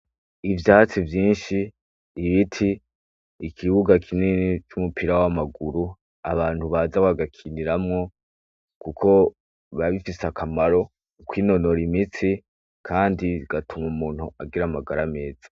Ivyatsi vyinshi ibiti ikibuga kinini c'umupira w'amaguru abantu baza bagakiniramwo, kuko babifise akamaro uko inonora imitsi, kandi igatuma umuntu agira amagara ameza.